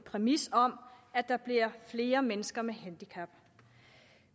præmisset om at der bliver flere mennesker med handicap